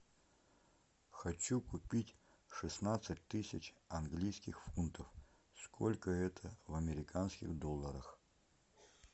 хочу купить шестнадцать тысяч английских фунтов сколько это в американских долларах